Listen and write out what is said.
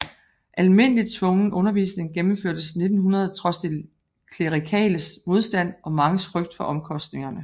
Almindelig tvungen undervisning gennemførtes 1900 trods de klerikales modstand og manges frygt for omkostningerne